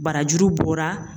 Barajuru bɔra